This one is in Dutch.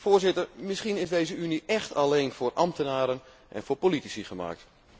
Voorzitter, misschien is deze Unie echt alleen voor ambtenaren en voor politici gemaakt.